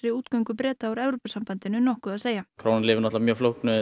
útgöngu Breta úr Evrópusambandinu nokkuð að segja krónan lifir auðvitað mjög flóknu